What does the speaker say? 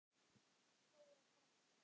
Þóra frænka.